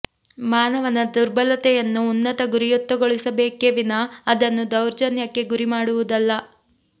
ಮಾನವನ ದುರ್ಬಲತೆಯನ್ನು ಉನ್ನತ ಗುರಿಯತ್ತಗೊಳಿಸಬೇಕೆ ವಿನಾ ಅದನ್ನು ದೌರ್ಜನ್ಯಕ್ಕೆ ಗುರಿ ಮಾಡುವುದಲ್ಲ